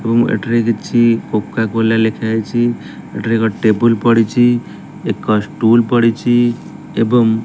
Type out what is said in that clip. ଏବଂ ଏଠାରେ କିଛି କୋକାକୋଲା ଲେଖା ଯାଇଚି ଏଠାରେ ଗୋଟେ ଟେବୁଲ୍ ପଡ଼ିଚି ଏକ ଷ୍ଟୁଲ୍ ପଡ଼ିଚୁ ଏବଂ --